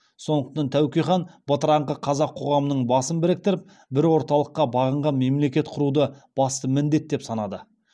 сондықтан тәуке хан бытыраңқы қазақ қоғамының басын біріктіріп бір орталыққа бағынған мемлекет құруды басты міндеті деп санады